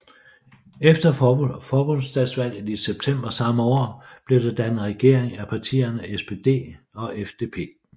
Efter forbundsdagsvalget i september samme år blev der dannet regering af partierne SPD og FDP